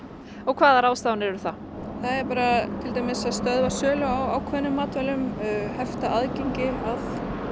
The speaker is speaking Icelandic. hvaða ráðstafanir eru það til dæmis að stöðva sölu á ákveðnum matvælum hefta aðgengi að